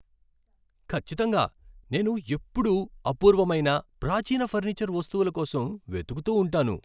ఖచ్చితంగా! నేను ఎప్పుడూ అపూర్వమైన, ప్రాచీన ఫర్నిచర్ వస్తువుల కోసం వెతుకుతూ ఉంటాను.